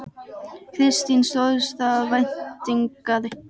Kristín: Stóðst það væntingar?